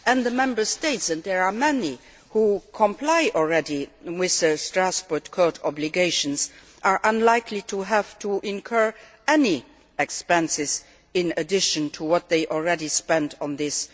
The Member States and there are many who already comply with the Strasbourg Court obligations are unlikely to have to incur any expenses in addition to what they already spend on this.